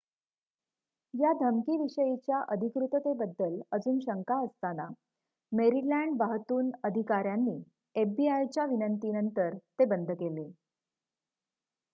या धमकी विषयीच्या अधिकृततेबद्दल अजून शंका असताना मेरीलँड वाहतून अधिकाऱ्यांनी एफबीआय च्या विनंती नंतर ते बंद केले